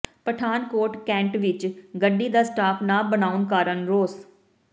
Pathankot cantt ਵਿਚ ਗੱਡੀ ਦਾ ਸਟਾਪ ਨਾ ਬਣਾਉਣ ਕਾਰਨ ਰੋਸ